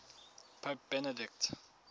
pope benedict